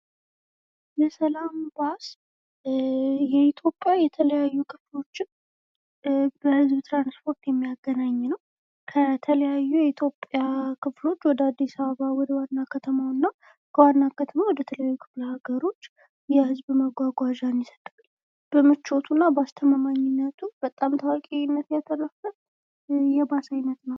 የሰላም ባስ የኢትዮጵያ የተለየዩ ክፍሎችን በህዝብ ትራንስፖርት የሚያገናኝ ነዉ። ከተለያዩ የኢትዮጵያ ክፍሎች ወደ አዲስ አበባ ወደ ዋና ከተማዉ እና ከዋና ከተማ ወደ ተለያዩ ክፍለ አገሮች የህዝብ መጓጓዣን ይሰጣል። በምቾቱ እና በአስተማማኝነቱ በጣም ታዋቂነት ያተረፈ የባስ አይነት ነዉ።